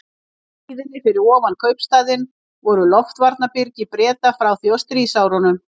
Í hlíðinni fyrir ofan kaupstaðinn voru loftvarnarbyrgi Breta frá því á stríðsárunum.